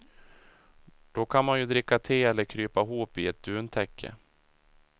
Då kan man ju dricka te eller krypa ihop i ett duntäcke.